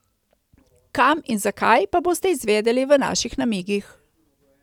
Kam in zakaj, pa boste izvedeli v naših namigih.